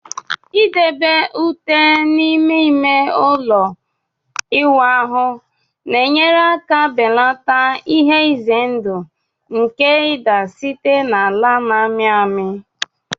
Idebe ute n'ime ime ụlọ ịwụ ahụ na-enyere aka belata ihe ize ndụ nke ịda site na ala na-amị amị